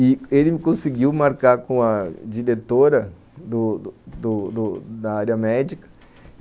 E ele me conseguiu marcar com a diretora do do do da área médica.